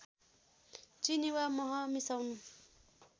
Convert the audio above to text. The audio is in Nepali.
चिनी वा मह मिसाउनु